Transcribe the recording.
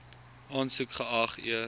aansoek geag eers